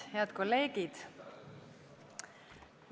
Head kolleegid!